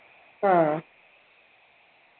ആ